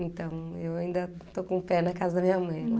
Então, eu ainda estou com o pé na casa da minha mãe. Hm